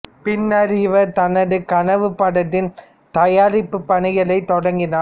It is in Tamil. பின்னர் இவர் தனது கனவுப் படத்தின் தயாரிப்புப் பணிகளைத் தொடங்கினார்